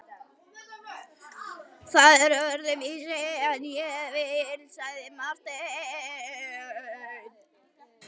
Það er öðruvísi en ég vil, sagði Marteinn.